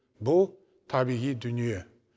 бұл табиғи дүние